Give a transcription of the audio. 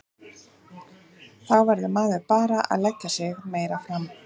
Þá verður maður bara að leggja sig enn meira fram.